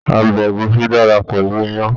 Ọbẹ̀ ẹ̀gúsí dára pẹ̀lú iyán.